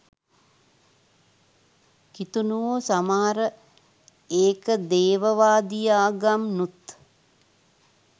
කිතුනුවෝ සමහර ඒක දේවවාදී ආගම්නුත්